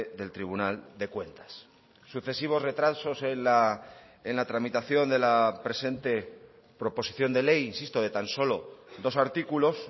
del tribunal de cuentas sucesivos retrasos en la tramitación de la presente proposición de ley insisto de tan solo dos artículos